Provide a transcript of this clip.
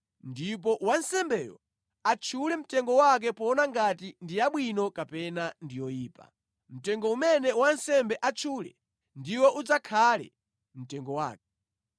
ndipo wansembeyo atchule mtengo wake poona ngati ndi yabwino kapena ndi yoyipa. Mtengo umene wansembe atchule ndiwo udzakhale mtengo wake.